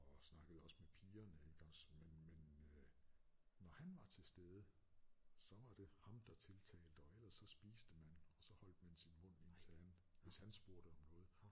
Og snakkede også med pigerne iggås men men øh når han var til stede så var det ham der tiltalte og ellers så spiste man og så holdt man sin mund indtil han hvis han spurgte om noget